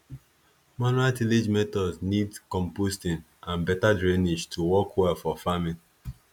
manual tillage methods need composting and better drainage to work well for farming